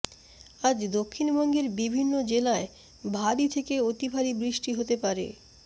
আজ দক্ষিণবঙ্গের বিভিন্ন জেলায় ভারী থেকে অতিভারী বৃষ্টি হতে পারে